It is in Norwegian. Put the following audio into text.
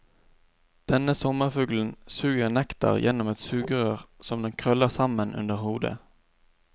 Denne sommerfuglen suger nektar gjennom et sugerør som den krøller sammen under hodet.